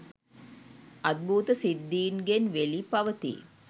අද්භූත සිද්ධීන්ගෙන් වෙළි පවතී.